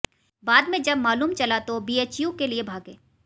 बाद में जब मालूम चला तो बीएचयू के लिए भागे